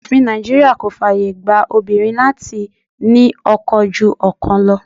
Òfin Nàìjíríà kò fàyè gba obìnrin láti ní ọkọ ju ọkan lọ.